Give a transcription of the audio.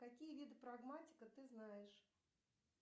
какие виды прагматика ты знаешь